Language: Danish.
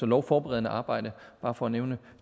lovforberedende arbejde bare for at nævne